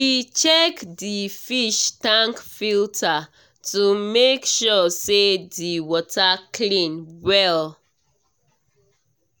he check the fish tank filter to make sure say the water clean well